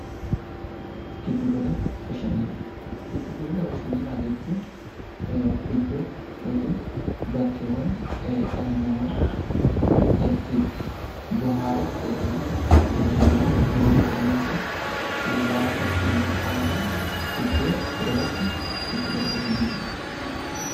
Giddu gala bashannanaa jechuun iddoo yookiin bakkeewwan dhalli namaa itti bohaaruuf yookiin immoo itti bashannanuuf yeroo boqonnaa isaa Hiriyoota isaa waliin iddoo itti dabarsu gidduu gala bashannanaa jedhama